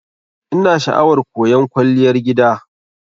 Ina sha'awar koyan Kwalliyar gida.